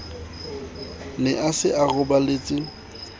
ne a se a roballetse